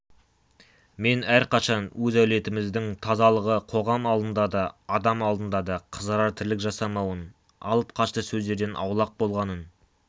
мен әрқашан өз әулетіміздің тазалығы қоғам алдында да адам алдында да қызарар тірлік жасамауын алып-қашты сөздерден аулақ болғанын